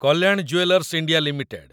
Kalyan jewellers India limited